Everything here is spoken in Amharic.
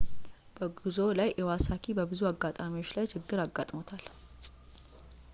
በጉዞው ላይ ኢዋሳኪ በብዙ አጋጣሚዎች ላይ ችግር አጋጥሞታል